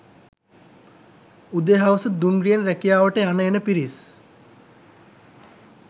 උදේ හවස දුම්රියෙන් රැකියාවට යන එන පිරිස්